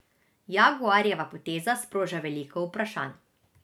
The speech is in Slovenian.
Jaguarjeva poteza sproža veliko vprašanj.